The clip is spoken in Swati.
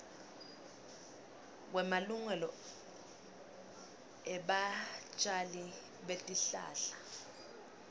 kwemalungelo ebatjali betihlahla